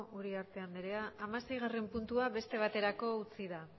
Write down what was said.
uriarte anderea hamaseigarren puntua beste baterako utzi da